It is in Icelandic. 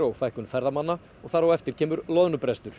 og fækkun ferðamanna og þar á eftir kemur loðnubrestur